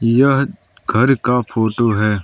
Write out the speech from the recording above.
यह घर का फोटो है।